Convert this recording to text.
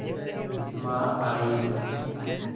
माँ आयीं